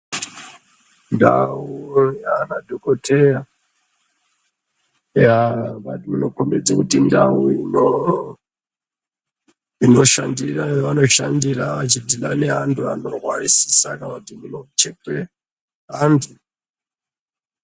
Nfau aa madhokoteya yaaa inokombedze kuti ndau ino inoshandira yavanoshandira vachidhila neantu anorwarisisa kana kuti munochekwe antu.